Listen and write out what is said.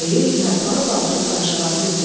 Ayı yarpağı qaldırıb qarışqanı götürdü.